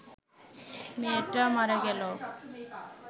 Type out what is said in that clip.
মেয়েটা মারা গেল